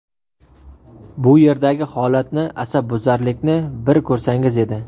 Bu yerdagi holatni, asabbuzarlikni bir ko‘rsangiz edi.